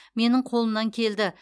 менің қолымнан келді